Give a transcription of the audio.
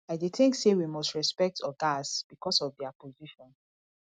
i dey think say we must respect ogas because of dia position